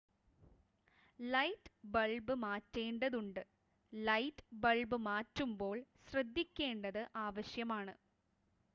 light bulb മാറ്റേണ്ടതുണ്ട് light bulb മാറ്റുമ്പോൾ ശ്രദ്ധിക്കേണ്ടത് ആവശ്യമാണ്